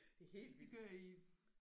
Det er helt vildt